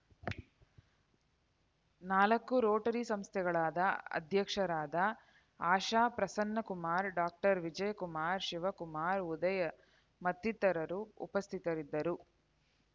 ನಾಲ್ಕು ರೋಟರಿ ಸಂಸ್ಥೆಗಳಾದ ಅಧ್ಯಕ್ಷರಾದ ಆಶಾ ಪ್ರಸನ್ನಕುಮಾರ್ ಡಾಕ್ಟರ್ ವಿಜಯಕುಮಾರ್ ಶಿವಕುಮಾರ್ ಉದಯ್ ಮತ್ತಿತರರು ಉಪಸ್ಥಿತರಿದ್ದರು